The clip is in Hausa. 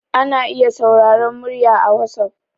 ana iya sauraron murya a wasof